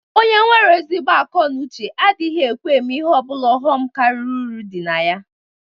Onye nwere ezigbo ako na uche adighi ekwe eme ihe obula ghom kariri uru di na ya.